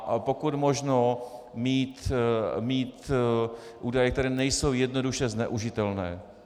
A pokud možno mít údaje, které nejsou jednoduše zneužitelné.